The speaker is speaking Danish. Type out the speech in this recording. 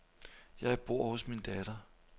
Jeg bor hos min datter.